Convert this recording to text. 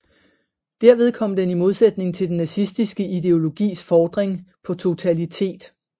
Derved kom den i modsætning til den nazistiske ideologis fordring på totalitet